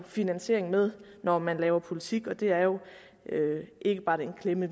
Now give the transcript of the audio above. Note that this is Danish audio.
finansiering med når man laver politik det er jo ikke bare den klemme